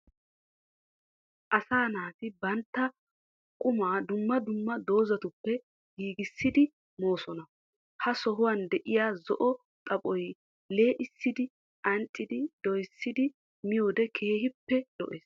Asaa naati bantta qumaa dumma dumma doozatuppe giigissidi moosona. Ha sohuwan diya zo'o xaphoy lee'issidi anccidi doyissidi miyoode keehippe lo'es.